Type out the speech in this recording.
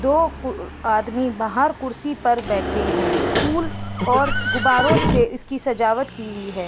दो कु आदमी बाहर कुर्सी पर बैठे हैं। फूल और गुब्बारों से इसकी सजावट की हुई हैं।